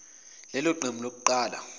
lelo qembu lokuqala